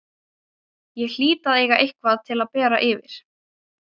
Ég hlýt að eiga eitthvað til að bera yfir.